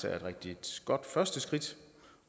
er et rigtig godt første skridt